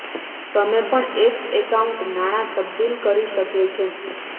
તમે પણ એક એકાઉન્ટ નાણાં તબદીલ કરી શકે છે